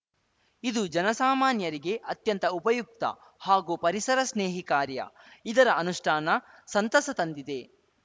ಇದು ಜನಸಾಮಾನ್ಯರಿಗೆ ಅತ್ಯಂತ ಉಪಯುಕ್ತ ಹಾಗೂ ಪರಿಸರ ಸ್ನೇಹಿ ಕಾರ್ಯ ಇದರ ಅನುಷ್ಠಾನ ಸಂತಸ ತಂದಿದೆ